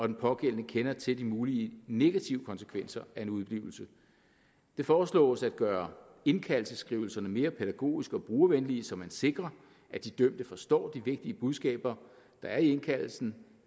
den pågældende kender til de mulige negative konsekvenser af en udeblivelse det foreslås at gøre indkaldelsesskrivelserne mere pædagogiske og brugervenlige så man sikrer at de dømte forstår de vigtige budskaber der er i indkaldelsen